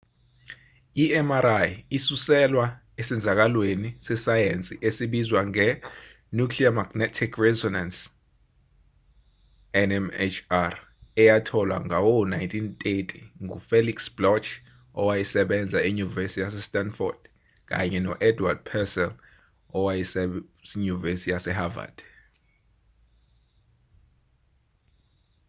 i-mri isuselwa esenzakalweni sesayensi esibizwa nge-nuclear magnetic resonance nmr eyatholwa ngawo-1930 ngu-felix bloch owayesebenza enyuvesi yase-stanford kanye no-edward purcell wasenyuvesi yase-havard